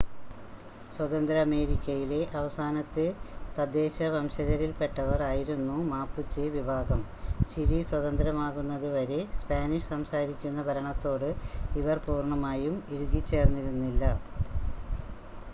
സ്വതന്ത്ര അമേരിക്കയിലെ അവസാനത്തെ തദ്ദേശ വംശജരിൽപ്പെട്ടവർ ആയിരുന്നു മാപുചെ വിഭാഗം, ചിലി സ്വതന്ത്രമാകുന്നത് വരെ സ്പാനിഷ് സംസാരിക്കുന്ന ഭരണത്തോട് ഇവർ പൂർണ്ണമായും ഇഴുകിച്ചേർന്നിരുന്നില്ല